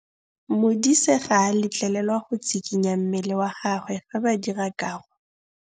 Modise ga a letlelelwa go tshikinya mmele wa gagwe fa ba dira karô.